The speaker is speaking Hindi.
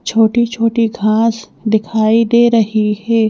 छोटी छोटी घास दिखाई दे रही है।